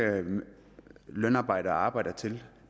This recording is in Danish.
lønarbejdere arbejder til